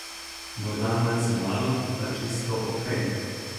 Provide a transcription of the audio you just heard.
Morda malce malo, a čisto ok.